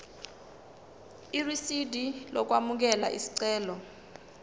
irisidi lokwamukela isicelo